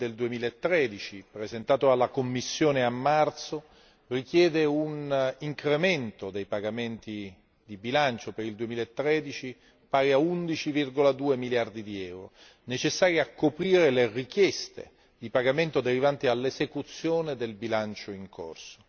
2 del 2013 presentato dalla Commissione a marzo richiede un incremento dei pagamenti di bilancio per il 2013 pari a 11,2 miliardi di euro, necessari a coprire le richieste di pagamento derivanti dall'esecuzione del bilancio in corso.